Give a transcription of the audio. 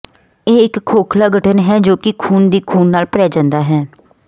ਇਹ ਇੱਕ ਖੋਖਲਾ ਗਠਨ ਹੈ ਜੋ ਕਿ ਖੂਨ ਦੀ ਖੂਨ ਨਾਲ ਭਰਿਆ ਹੁੰਦਾ ਹੈ